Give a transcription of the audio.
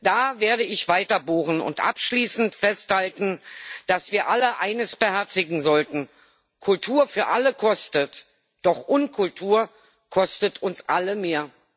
Da werde ich weiter bohren und abschließend festhalten, dass wir alle eines beherzigen sollten Kultur für alle kostet, doch Unkultur kostet uns alle mehr.